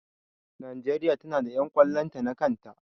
Najeriya ta na da ƴan ƙwallon ta na kan ta